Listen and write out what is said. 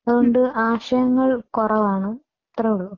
അത് കൊണ്ട് ആശയങ്ങള്‍ കുറവാണ്. അത്രയേ ഉള്ളൂ